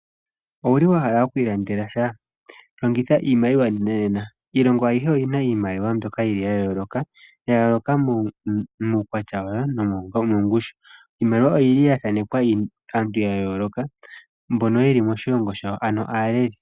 Owu li wa hala okuilandela sha? Longitha iimaliwa nenanena. Iilongo ayihe oyi na iimaliwa mbyoka ya yooloka, ya yooloka muukwatya wayo nomongushu. Iimaliwa oya thaanekwa aantu ya yooloka mbono ye li moshilongo shawo, ano aaleli.